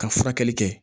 Ka furakɛli kɛ